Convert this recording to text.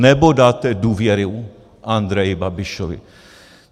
Nebo dáte důvěru Andreji Babišovi?